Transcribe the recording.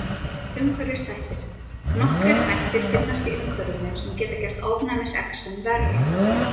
Umhverfisþættir: Nokkrir þættir finnast í umhverfinu sem geta gert ofnæmisexem verra.